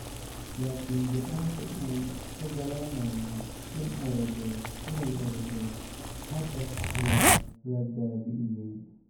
Laakiin go'aanka u oggolaanayay inay orodo hadda waa la baabi'iyay.